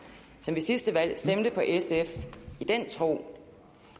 som ved sidste valg stemte på sf i den tro